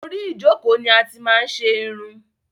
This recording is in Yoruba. Orí ìjọ́kọ̀ ni a ti máa n ṣe irun